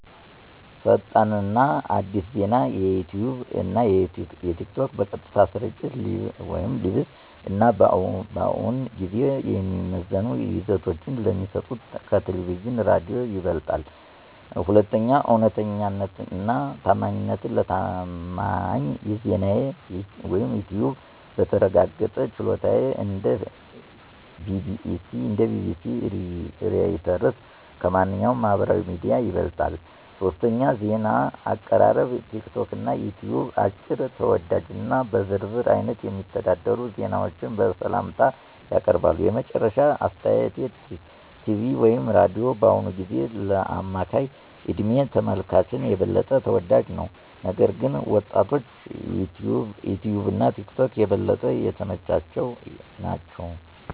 1. ፈጣን እና አዲስ ዜና - ዩትዩብ እና ቲክቶክ በቀጥታ ስርጭት (Live) እና በእውን ጊዜ የሚዘመኑ ይዘቶች ስለሚሰጡ ከቴሌቪዥን/ሬዲዮ ይበልጣል። 2. እውነተኛነት እና ታማኝነት - ለታማኝ ዜናዩትዩብ(በተረጋገጠ ቻናሎች እንደ BBC፣ Reuters) ከማንኛውም ማህበራዊ ሚዲያ ይበልጣል። 3. ዜና አቀራረብ - ቲክቶክ እና ዩትዩብ አጭር፣ ተወዳጅ እና በዝርዝር አይነት የሚተዳደሩ ዜናዎችን በሰላምታ ያቀርባሉ። የመጨረሻ አስተያየት ቲቪ/ሬዲዮ በአሁኑ ጊዜ ለአማካይ እድሜ ተመልካቾች የበለጠ ተወዳጅ ነው፣ ነገር ግን ወጣቶችዩትዩብ እና ቲክቶክ የበለጠ የተመቻቸ ናቸው።